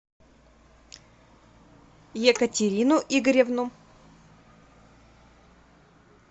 екатерину игоревну